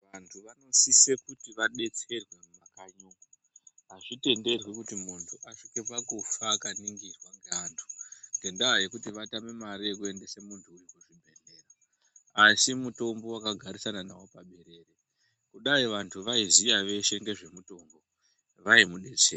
Vantu vanosise kuti vabetserwe mumakanyi umu. Hazvitenderwi kuti muntu asvike pakufa akaningirwa ngeantu ngendaa yekuti vatame mare yekuendere muntu uyu kuzvibhedhlera. Asi mutombo vakagarisana navo paberere kudai vantu vaiziya veshe ngezvemutombo vaimubetsera.